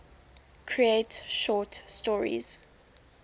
create short stories